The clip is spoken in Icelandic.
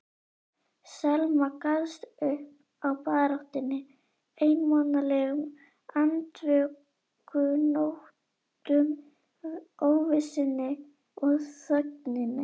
Selma gafst upp á baráttunni, einmanalegum andvökunóttum, óvissunni og þögninni.